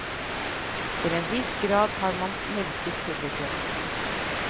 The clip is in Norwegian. Til en viss grad har man melket publikum.